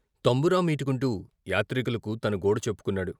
తంబురా మీటుకొంటూ యాత్రికులకు తన గోడు చెప్పు కొన్నాడు.